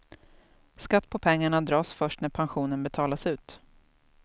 Skatt på pengarna dras först när pensionen betalas ut.